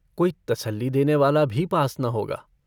कोई तसल्ली देनेवाला भी पास न होगा।